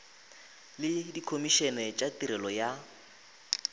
le dikhomišene tša tirelo ya